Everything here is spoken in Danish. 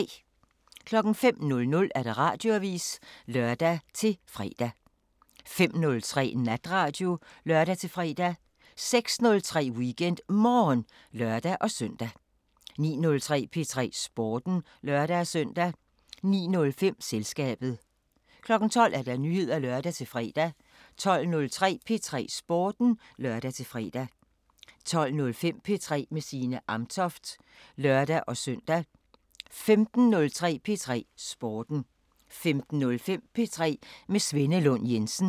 05:00: Radioavisen (lør-fre) 05:03: Natradio (lør-fre) 06:03: WeekendMorgen (lør-søn) 09:03: P3 Sporten (lør-søn) 09:05: Selskabet 12:00: Nyheder (lør-fre) 12:03: P3 Sporten (lør-fre) 12:05: P3 med Signe Amtoft (lør-søn) 15:03: P3 Sporten 15:05: P3 med Svenne Lund Jensen